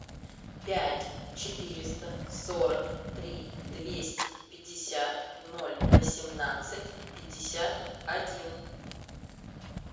пять четыреста сорок три двести пятьдесят ноль восемнадцать пятьдесят один